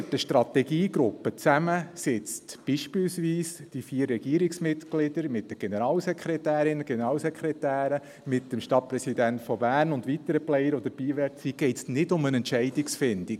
Wenn dort eine Strategiegruppe zusammensitzt, beispielsweise die vier Regierungsmitglieder mit den Generalsekretärinnen und Generalsekretären, mit dem Stadtpräsidenten Berns und mit weiteren Playern, die dabei sein möchten, geht es nicht um eine Entscheidungsfindung.